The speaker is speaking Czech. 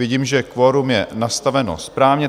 Vidím, že kvorum je nastaveno správně.